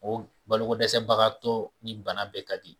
O balo ko dɛsɛ bagatɔ ni bana bɛɛ ka di.